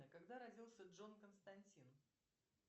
а когда родился джон константин